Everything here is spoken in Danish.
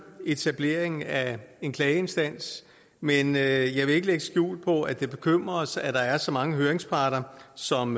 etableringen af en klageinstans men jeg vil ikke lægge skjul på at det bekymrer os at der er så mange høringsparter som